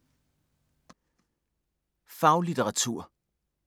Faglitteratur